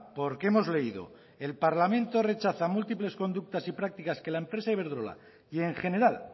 porque hemos leído el parlamento rechaza múltiples conductas y prácticas que la empresa iberdrola y en general